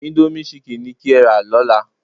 Íńdómì chicken ni kí ẹ́ rà lọ́la.